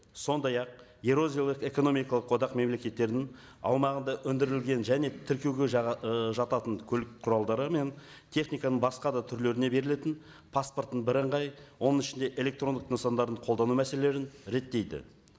сондай ақ еуразиялық экономикалық одақ мемлекеттерінің аумағында өндірілген және тіркеуге ы жататын көлік құралдары мен техниканың басқа да түрлеріне берілетін паспорттың бірыңғай оның ішінде электрондық нысандарын қолдану мәселелерін реттейді